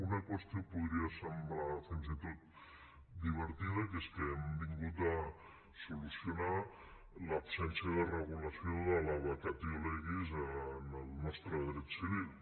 una qüestió podria semblar fins i tot divertida que és que hem vingut a solucionar l’absència de regulació de la vacatio legis en el nostre dret civil